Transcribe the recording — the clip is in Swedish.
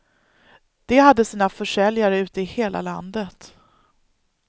De hade sina försäljare ute i hela landet.